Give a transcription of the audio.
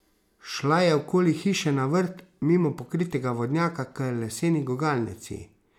Šla je okoli hiše na vrt, mimo pokritega vodnjaka k leseni gugalnici.